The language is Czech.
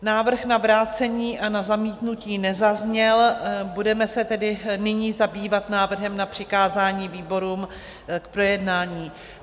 Návrh na vrácení a na zamítnutí nezazněl, budeme se tedy nyní zabývat návrhem na přikázání výborům k projednání.